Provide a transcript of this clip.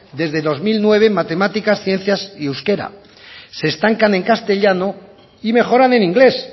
desde dos mil nueve en matemáticas ciencias y euskera se estancan en castellano y mejoran en inglés